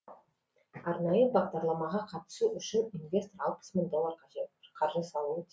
арнайы бағдарламаға қатысу үшін инвестор алпыс мың доллар қаржы салуы